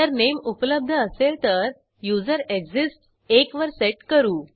जरनेम उपलब्ध असेल तर युझरेक्सिस्ट्स एक वर सेट करू